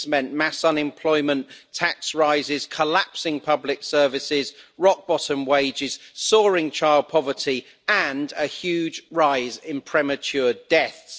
It has meant mass unemployment, tax rises, collapsing public services, rock bottom wages, soaring child poverty and a huge rise in premature deaths.